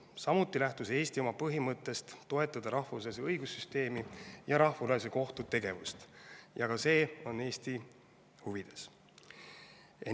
Samuti lähtus Eesti oma põhimõttest toetada rahvusvahelist õigussüsteemi ja Rahvusvahelise Kohtu tegevust – ka see on Eesti huvides.